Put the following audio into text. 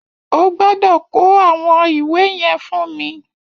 You must bring me those books